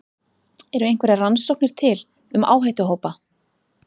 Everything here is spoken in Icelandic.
Eru einhverjar rannsóknir til um áhættuhópa?